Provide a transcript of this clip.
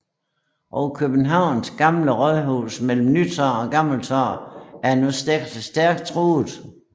Og Københavns Gamle Rådhus mellem Nytorv og Gammeltorv var nu stærkt truet